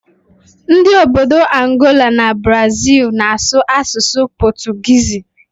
Ndị obodo Angola na Brazịl na-asụ asụsụ pọtụgiizi